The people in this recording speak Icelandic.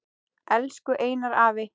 Elsku Einar afi.